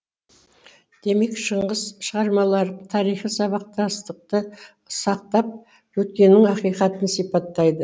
демек шыңғыс шығармалары тарихи сабақтастықты сақтап өткеннің ақиқатын сипаттайды